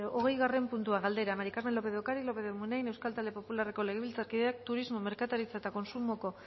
hogeigarren puntua galdera maría del carmen lópez de ocariz lópez de munain euskal talde popularreko legebiltzarkideak turismo merkataritza eta kontsumoko